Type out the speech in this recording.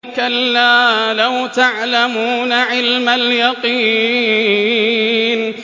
كَلَّا لَوْ تَعْلَمُونَ عِلْمَ الْيَقِينِ